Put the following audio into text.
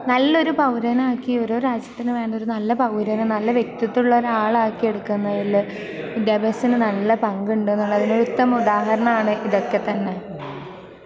നല്ലൊരു പൗരനാക്കി, ഓരോ രാജ്യത്തിനും വേണ്ട ഒരു നല്ല പൗരര, നല്ല വ്യക്തിത്വമുള്ള ഒരു ആളാക്കി എടുക്കുന്നതില് വിദ്യാഭ്യാസത്തിന് നല്ല പങ്കുണ്ട് എന്നുള്ളതിന് ഒരു ഉത്തമ ഉദാഹരണമാണ് ഇതൊക്കെത്തന്നെ.